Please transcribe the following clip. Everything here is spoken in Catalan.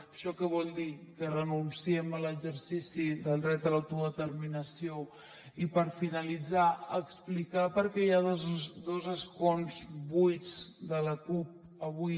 això què vol dir que renunciem a l’exercici del dret a l’autodeterminació i per finalitzar explicar per què hi ha dos escons buits de la cup avui